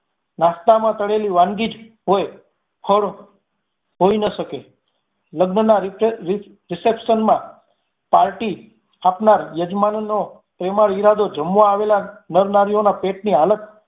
નાશ્તામાં તળેલી વાનગી જ હોઈ ન શકે. લગ્ન ના reception માં party આપનાર યજમાનોનો પ્રેમાળ ઈરાદો જમવા આવેલા નર નારીઓના પેટની હાલત